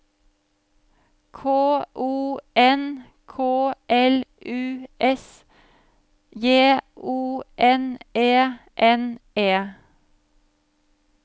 K O N K L U S J O N E N E